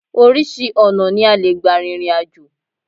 Oríṣi ọ̀nà ni a lè gbà rìnrìn àjò